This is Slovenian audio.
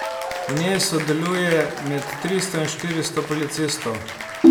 V njej sodeluje med tristo in štiristo policistov.